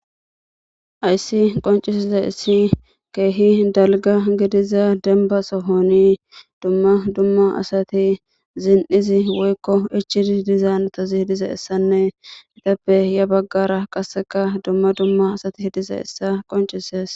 Hayssi qoncisizayissi keehi dalga gidiza denba sohoni dumma dumma asati zin7izi woykko ichidi dizaanatazi hidiza issanne itappe ya baggara qasseka dumma dumma asati hidizayissa qoncises.